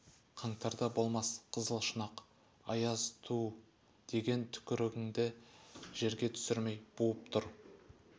қаңтарда болмас қызыл шұнақ аяз түу деген түкірігіңді жерге түсірмей буып тұр